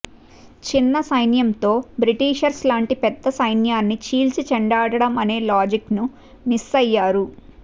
చిన్న సైన్యంతో బ్రిటిషర్స్ లాంటి పెద్ద సైన్యాన్ని చీల్చి చెండాడటం అనే లాజిక్ ను మిస్ అయ్యారు